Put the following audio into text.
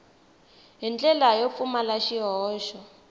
hi ndlela yo pfumala swihoxo